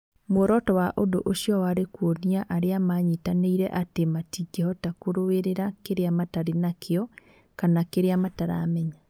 Muoroto wa ũndũ ũcio warĩ kuonia arĩa maanyitanĩire atĩ matingĩhota kũrũĩrĩra kĩrĩa matarĩ nakĩo kana kĩrĩa mataramenya.